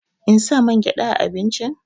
In sa mangyaɗa a abincin?